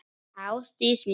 Ástin mín!